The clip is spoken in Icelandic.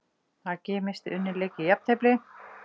AG missti unninn leik í jafntefli